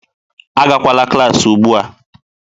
Agakwala klaasị ugbu a.